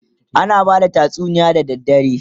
ana bada tatsuniya da dare